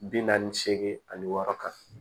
Bi naani seegin ani wɔɔrɔ kan